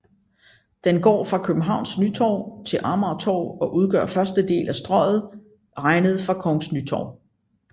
Den går fra Kongens Nytorv til Amagertorv og udgør første del af Strøget regnet fra Kongens Nytorv